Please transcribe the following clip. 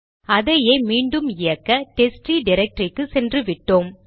அதையே மீண்டும் இயக்க டெஸ்ட்ட்ரீ டிரக்டரிக்கு சென்றுவிட்டோம்